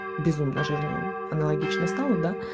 безумно же аналогично стола